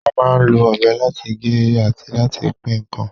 A máa ń lo ọ̀bẹ láti gé àti láti pín ǹkan